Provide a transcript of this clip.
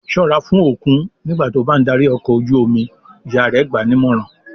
"Ṣọ́ra fún òkun nígbà tí ó bá ń darí ọkọ̀ ojú-omi!" Ìyá rẹ̀ gbà á nímọ̀ràn.